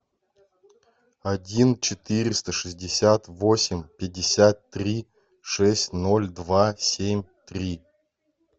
один четыреста шестьдесят восемь пятьдесят три шесть ноль два семь три